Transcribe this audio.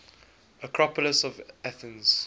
acropolis of athens